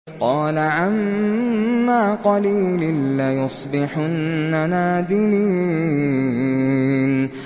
قَالَ عَمَّا قَلِيلٍ لَّيُصْبِحُنَّ نَادِمِينَ